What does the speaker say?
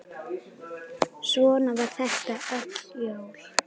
Svona var þetta öll jól.